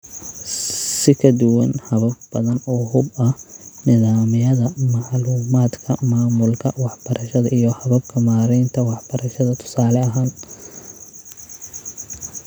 Si ka duwan habab badan oo hub ah (nidaamyada macluumaadka maamulka waxbarashada iyo hababka maaraynta waxbarashada, tusaale ahaan),